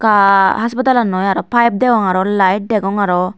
aa haspatal annoi aro pipe degong aro light degong aro.